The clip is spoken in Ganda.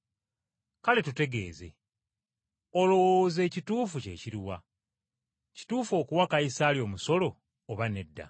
Kale tutegeeze, olowooza ekituufu kye kiri wa? Kituufu okuwa Kayisaali omusolo oba si kituufu?”